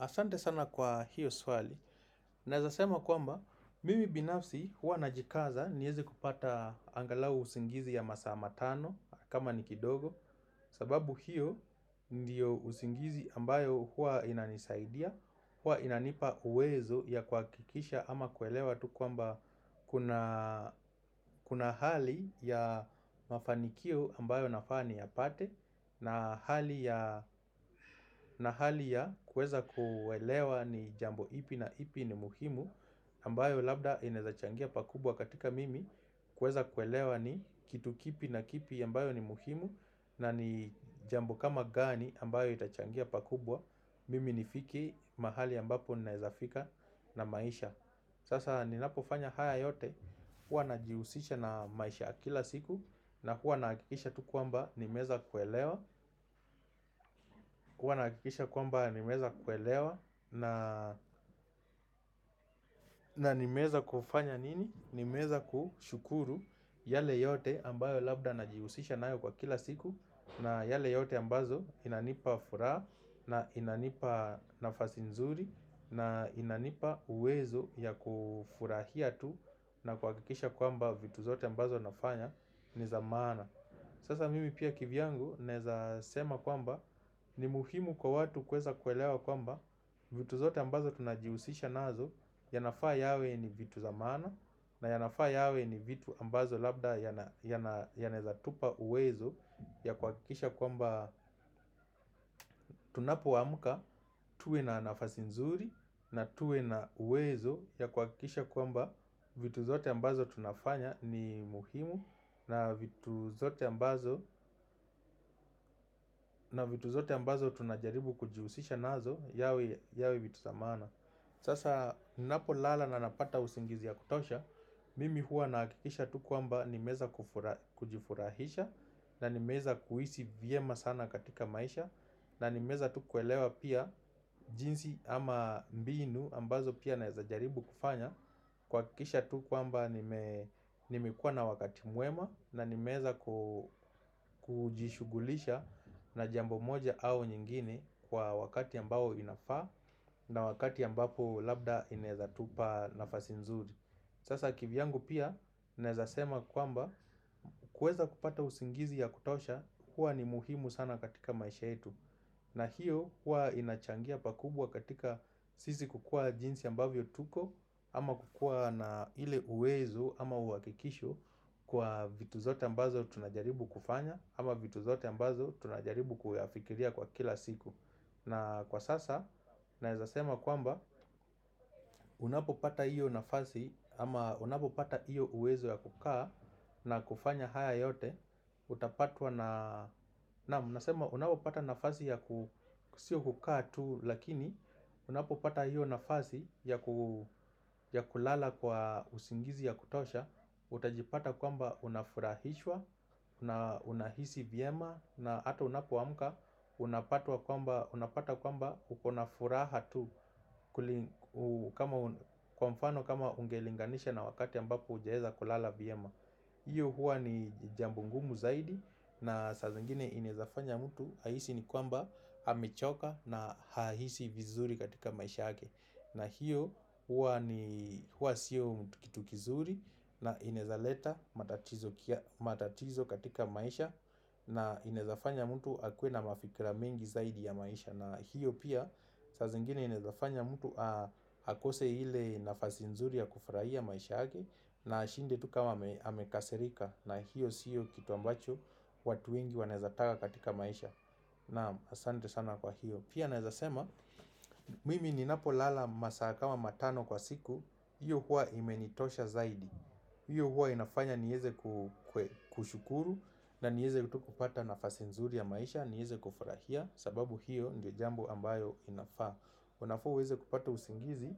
Asante sana kwa hiyo swali, nawezasema kwamba mimi binafsi huwa najikaza niweze kupata angalau usingizi ya masaa matano kama nikidogo sababu hiyo ndiyo usingizi ambayo huwa inanisaidia, huwa inanipa uwezo ya kuhakikisha ama kuelewa tu kwamba kuna hali ya mafanikio ambayo nafaa niyapate na hali ya kuweza kuelewa ni jambo ipi na ipi ni muhimu ambayo labda inawezachangia pakubwa katika mimi kuweza kuelewa ni kitu kipi na kipi ambayo ni muhimu na ni jambo kama gani ambayo itachangia pakubwa Mimi nifike mahali ambapo ninawezafika na maisha Sasa ninapofanya haya yote huwa najihusisha na maisha akila siku na huwa nakikisha tu kwamba nimaweza kuelewa huwa nakikisha kwamba nimeza kuelewa na nimeweza kufanya nini nimeweza kushukuru yale yote ambayo labda najihusisha nayo kwa kila siku na yale yote ambao inanipa furaha na inanipa nafasi nzuri na inanipa uwezo ya kufurahia tu na kuhakikisha kwamba vitu zote ambazo nafanya ni zamaana Sasa mimi pia kivyangu naweza sema kwamba ni muhimu kwa watu kweza kwelewa kwamba vitu zote ambazo tunajihusisha nazo yanafaa yawe ni vitu zamaana na yanafaa yawe ni vitu ambazo labda yanaweza tupa uwezo ya kuhakikisha kwamba tunapuamuka tuwe na nafasi nzuri na tuwe na uwezo ya kuhakikisha kwamba vitu zote ambazo tunafanya ni muhimu na vitu zote ambazo tunajaribu kujihusisha nazo yawe vitu zamaana Sasa ninapo lala na napata usingizi ya kutosha Mimi huwa nahakikisha tu kwamba nimeweza kujifurahisha na nimeweza kuishi vyema sana katika maisha na nimeweza tu kuelewa pia jinsi ama mbinu ambazo pia naezajaribu kufanya kuhakikisha tu kwamba nimekuwa na wakati mwema na nimeweza kujishughulisha na jambo moja au nyingine Kwa wakati ambao inafaa na wakati ambapo labda inawezatupa nafasi nzuri Sasa kivyangu pia, nawezasema kwamba kuweza kupata usingizi ya kutosha huwa ni muhimu sana katika maisha yetu na hiyo, huwa inachangia pakubwa katika Sisi kukua jinsi ambavyo tuko Ama kukua na ile uwezu ama uhakikisho Kwa vitu zote ambazo tunajaribu kufanya Ama vitu zote ambazo tunajaribu kuyafikiria kwa kila siku na kwa sasa, nawezasema kwamba Unapo pata hiyo nafasi Ama unapo pata hiyo uwezo ya kukaa na kufanya haya yote Utapatwa na Naam, nasema unapo pata nafasi ya sio kukaa tu Lakini, unapo pata hiyo nafasi ya kulala kwa usingizi ya kutosha Utajipata kwamba unafurahishwa na unahisi vyema na hata unapoamka Unapata kwamba uko na furaha tu Kwa mfano kama ungelinganisha na wakati ambapo hujaweza kulala vyema hiyo huwa ni jambo ngumu zaidi na saa nyingine inawezafanya mtu ahisi ni kwamba amechoka na haishi vizuri katika maisha yake na hiyo huwa siyo kitu kizuri na inawezaleta matatizo katika maisha na inezafanya mtu hakuwe na mafikira mingi zaidi ya maisha na hiyo pia saa zingine inezafanya mtu akose ile nafasi nzuri ya kufurahia maisha yake na ashinde tu kama amekaserika na hiyo siyo kitu ambacho watu wengi wanezataka katika maisha Naam asante sana kwa hiyo Pia nawezasema mimi ninapo lala masaa kama matano kwa siku hiyo kwa imenitosha zaidi hiyo huwa inafanya niweze kushukuru na niweze kupata nafasi nzuri ya maisha, niweze kufurahia, sababu hiyo ndio jambo ambayo inafaa. Unafaa uweze kupata usingizi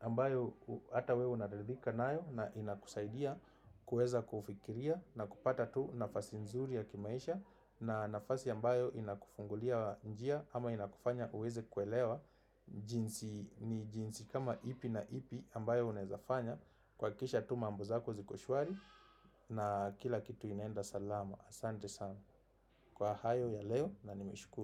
ambayo hata wewe unaridhika nayo na inakusaidia kuweza kufikiria na kupata tu nafasi nzuri ya kimaisha na nafasi ambayo inakufungulia njia ama inakufanya uweze kuelewa jinsi ni jinsi kama ipi na ipi ambayo unawezafanya. Kuhakikisha tu mambo zako ziko shwari na kila kitu inaenda salama Asante sana Kwa hayo ya leo na nimeshukuru.